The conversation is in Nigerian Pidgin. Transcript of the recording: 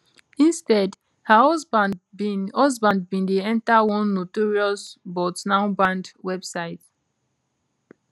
instead her husband bin husband bin de yenta one notorious but now banned website